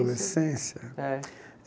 Adolescência? É